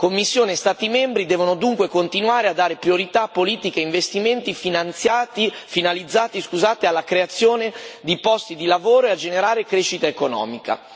Commissione e Stati membri devono dunque continuare a dare priorità a politiche e investimenti finalizzati alla creazione di posti di lavoro e a generare crescita economica.